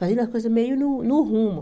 Fazendo as coisas meio no no rumo.